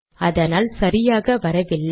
அதனால் சரியாக வரவில்லை